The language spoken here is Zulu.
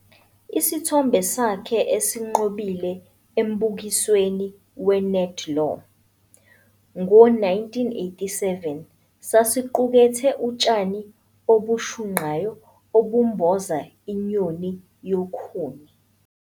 Isithombe sakhe esinqobile embukisweni weNedlaw, ngo-1987, sasiqukethe utshani obushunqayo obumboza inyoni yokhuni.